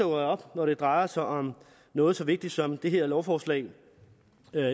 op når det drejer sig om noget så vigtigt som det her lovforslag